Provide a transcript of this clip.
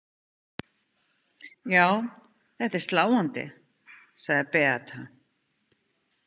Já, þetta er sláandi, sagði Beata.